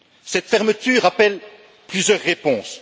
Cette fermeture appelle plusieurs réponses.